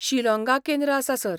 शिलाँगा केंद्र आसा सर.